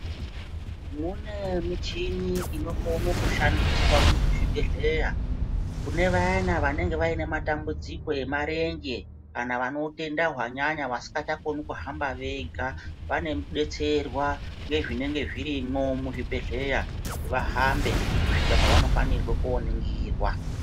Mune muchini inokone kushandiswa muzvibhedhleya kune vayana vanonga vaine matambudziko emarenje kana vanotenda hwanyanya vasikachakoni kuhamba vega vanobetserwa ngezvinenge zvirimo muzvibhedhleya kuti vahambe kusvika pavanofanire kuhambe kooningirwa.